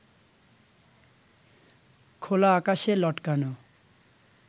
খোলা আকাশে লটকানো